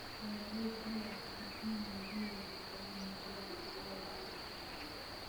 Beeralaydu waxay ku khasban yihiin inay beddelaan noocyada dalagga ay beertaan.